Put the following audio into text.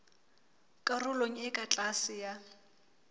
karolong e ka tlase ya